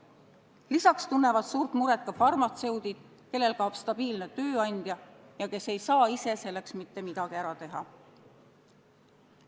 Lisaks tunnevad suurt muret ka farmatseudid, kellel kaob stabiilne tööandja ja kes ei saa ise selleks mitte midagi ära teha.